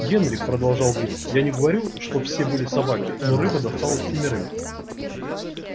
генри продолжал билл я не говорю что все были собаки но рыба досталась семерым